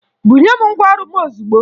Bunye m ngwaọrụ m ozugbo!